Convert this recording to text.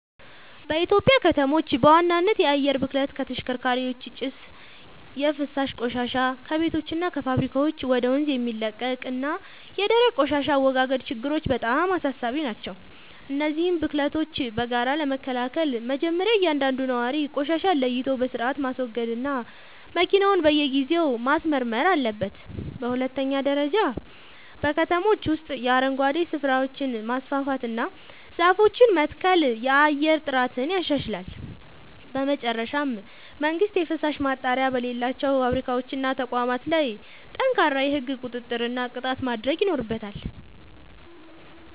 በኢትዮጵያ ከተሞች በዋናነት የአየር ብክለት (ከተሽከርካሪዎች ጭስ)፣ የፍሳሽ ቆሻሻ (ከቤቶችና ከፋብሪካዎች ወደ ወንዝ የሚለቀቅ) እና የደረቅ ቆሻሻ አወጋገድ ችግሮች በጣም አሳሳቢ ናቸው። እነዚህን ብክለቶች በጋራ ለመከላከል መጀመርያ እያንዳንዱ ነዋሪ ቆሻሻን ለይቶ በሥርዓት ማስወገድና መኪናውን በየጊዜው ማስመርመር አለበት። በሁለተኛ ደረጃ በከተሞች ውስጥ የአረንጓዴ ስፍራዎችን ማስፋፋትና ዛፎችን መትከል የአየር ጥራትን ያሻሽላል። በመጨረሻም መንግሥት የፍሳሽ ማጣሪያ በሌላቸው ፋብሪካዎችና ተቋማት ላይ ጠንካራ የሕግ ቁጥጥርና ቅጣት ማድረግ ይኖርበታል።